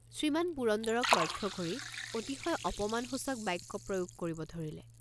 শ্ৰীমান পুৰন্দৰক লক্ষ্য কৰি অতিশয় অপমানসূচক বাক্য প্ৰয়োগ কৰিব ধৰিলে।